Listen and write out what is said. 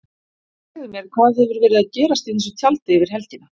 Segðu mér, hvað hefur verið að gerast í þessu tjaldi yfir helgina?